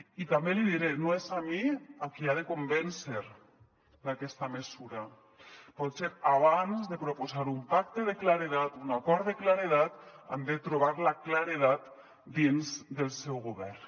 i també l’hi diré no és a mi a qui ha de convèncer d’aquesta mesura potser abans de proposar un pacte de claredat un acord de claredat han de trobar la claredat dins del seu govern